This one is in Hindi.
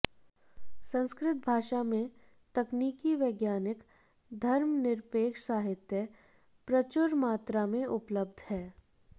संस्कृत भाषा में तकनीकी वैज्ञानिक धर्मनिरपेक्ष साहित्य प्रचुरमात्रा में उपलब्ध है